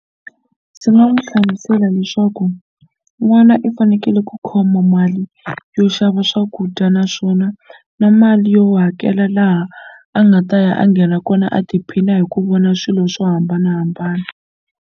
Ndzi nga n'wi hlamusela leswaku n'wana i fanekele ku khoma mali yo xava swakudya naswona na mali yo hakela laha a nga ta ya a nghena kona a tiphina hi ku vona swilo swo hambanahambana.